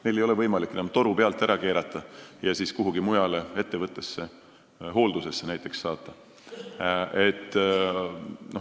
Neilt ei ole võimalik toru pealt ära keerata ja kuhugi mujale ettevõttesse hooldusesse saata.